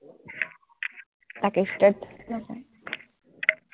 তাকে straight